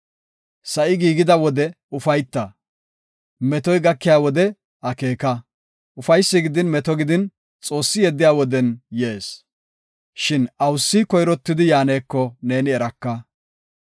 Sa7i giigida wode ufayta; metoy gakiya wode akeeka. Ufaysi gidin meto gidin Xoossi yeddiya woden yees. Shin awusi koyrottidi yaaneko neeni eraka.